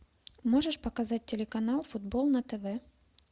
можешь показать телеканал футбол на тв